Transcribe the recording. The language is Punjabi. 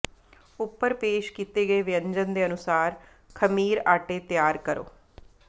ਉੱਪਰ ਪੇਸ਼ ਕੀਤੇ ਗਏ ਵਿਅੰਜਨ ਦੇ ਅਨੁਸਾਰ ਖਮੀਰ ਆਟੇ ਤਿਆਰ ਕਰੋ